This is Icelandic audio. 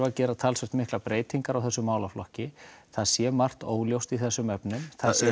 að gera talsvert miklar breytingar á þessum málaflokki það sé margt óljóst í þessum efnum